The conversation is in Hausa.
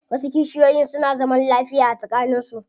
Wasu kishiyoyin suna zaman lafiya tsakanin su.